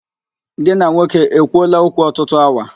Gị na nwoke e kwuoola okwu ọtụtụ awa?